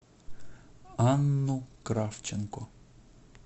анну кравченко